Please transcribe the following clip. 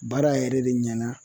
Baara yɛrɛ de ɲɛna